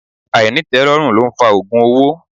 Ainitelorun lo ń fa ogun owó.